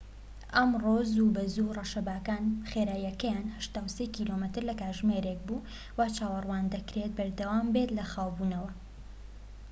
ئەمڕۆ زووبەزوو، ڕەشەباکان خێراییەکەیان ٨٣ کیلۆمەتر/کاتژمێرێك بوو، وا چاوەڕوان دەکرێت بەردەوامبێت لە خاوبوونەوە